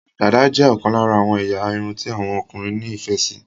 Dàda jé okan lara àwon eya irun ti àwon okunrin ní ìfẹ sí